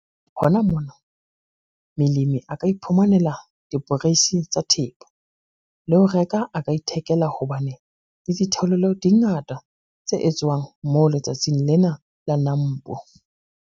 Hona mona, melemi a ka iphumanela diporeisi tsa thepa, le ho reka a ka ithekela hobane le ditheolelo di ngata tse etswang moo letsatsing lena la NAMPO.